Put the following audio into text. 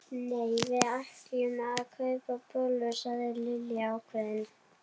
Nei, við ætlum að kaupa bollur sagði Lilla ákveðin.